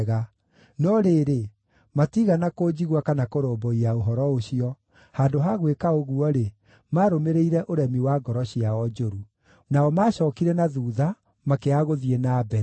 No rĩrĩ, matiigana kũnjigua kana kũrũmbũiya ũhoro ũcio; handũ ha gwĩka ũguo-rĩ, maarũmĩrĩirie ũremi wa ngoro ciao njũru. Nao maacookire na thuutha, makĩaga gũthiĩ na mbere.